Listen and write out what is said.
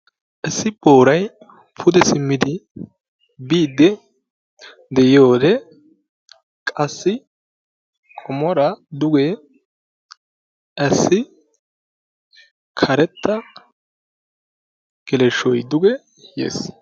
issi booray pude simmidi biidi diyide, qassi qomoora duge qassi karetta geleshoy duge yees.